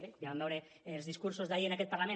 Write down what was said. bé ja vam veure els discursos d’ahir en aquest parlament